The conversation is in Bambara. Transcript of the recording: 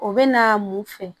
O bɛ na mun fɛ